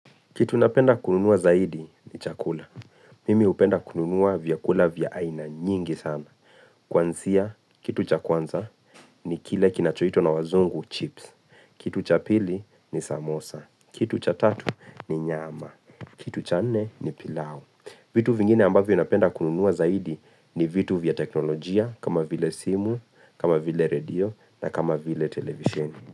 Kitu napenda kununua zaidi ni chakula. Mimi hupenda kununua vyakula vya aina nyingi sana. Kwanzia, kitu cha kwanza ni kile kinachoitwa na wazungu chips. Kitu cha pili ni samosa. Kitu cha tatu ni nyama. Kitu cha nne ni pilau. Vitu vingine ambavyo napenda kununua zaidi ni vitu vya teknolojia kama vile simu, kama vile radio na kama vile televisheni.